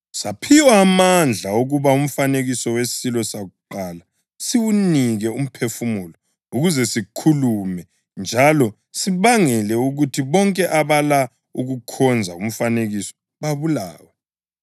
Saphiwa amandla okuba umfanekiso wesilo sakuqala siwunike umphefumulo ukuze sikhulume njalo sibangele ukuthi bonke abala ukukhonza umfanekiso babulawe.